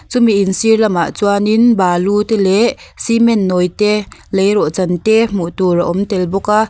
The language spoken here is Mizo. chumi in sir lam ah chuanin balu te leh cement nawi te leirawh chan te hmuh tur a awm tel bawk a.